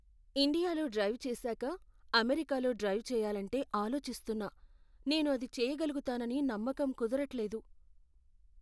ఇండియాలో డ్రైవ్ చేశాక అమెరికాలో డ్రైవ్ చెయ్యాలంటే ఆలోచిస్తున్నా. నేను అది చేయగలుగుతానని నమ్మకం కుదరట్లేదు.